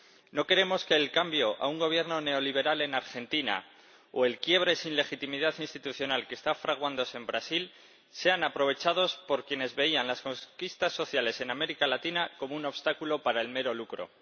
No queremos que el cambio a un Gobierno neoliberal en Argentina o el quiebre sin legitimidad institucional que está fraguándose en Brasil sean aprovechados por quienes veían las conquistas sociales en América Latina como un obstáculo para el mero lucro.